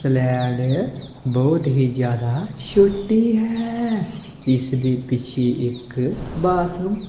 fled ਬਹੁਤ ਹੀ ਜਿਆਦਾ ਛੋਟੀ ਹੈ ਇਸਦੀ ਪਿੱਛੇ ਇੱਕ ਬਾਥਰੂਮ